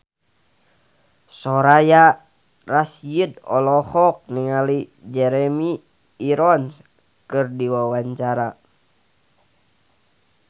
Soraya Rasyid olohok ningali Jeremy Irons keur diwawancara